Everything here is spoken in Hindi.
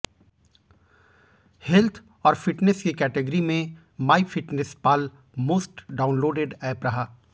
हेल्थ और फिटनेस की कैटिगरी में my fitness pal most downloaded app रहा